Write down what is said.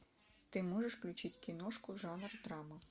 ты можешь включить киношку жанр драма